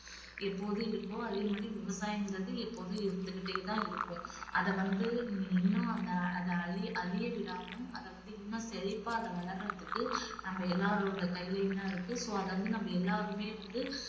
எப்போதும் இருக்கோ அதே மாதிரி விவசாயம்கிறதும் எப்போதும் இருந்துகிட்டே தான் இருக்கும். அத வந்து நீ இன்னும் அந்த அத அழிய~ அழிய விடாம அதவந்து இன்னும் செழிப்பா அத வளர்றதுக்கு நம்ம எல்லாரோட கையிலயும் தான் இருக்கு. so அத வந்து நம்ம எல்லாருமே வந்து